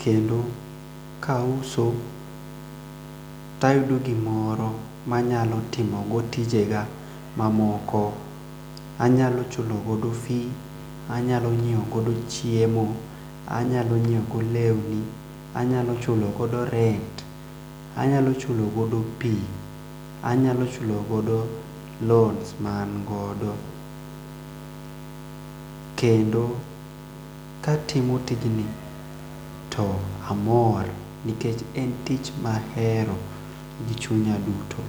kendo kauso tayudo gimoro manyalo timo go tijega mamoko anyalo chulo godo fee ,anyalo nyieo godo chiemo ,anyalo nyieo godo lewni, anyalo chulo godo rent, anyalo chulo godo pii, anyalo chulo godo loans ma an godo, kendo katimo tijni to amor nikech en tich mahero gi chunya duto.